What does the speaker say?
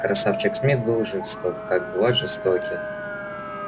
красавчик смит был жесток как бывают жестоки